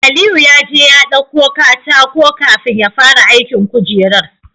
Aliyu yaje ya ɗauko katako kafin yafara aikin kujerar